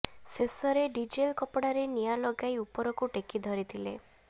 ଶେଷରେ ଡିଜେଲ କପଡାରେ ନିଆ ଲଗାଇ ଉପରକୁ ଟେକି ଧରିଥିଲେ